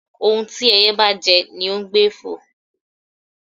Ohún tí ẹyẹ́ bá jẹ́, ní ọ n gbé fọ́